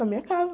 Na minha casa.